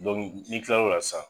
n'i kil'o la sisan